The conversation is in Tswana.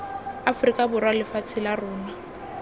aforika borwa lefatshe la rona